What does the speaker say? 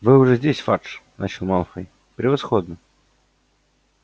вы уже здесь фадж начал малфой превосходно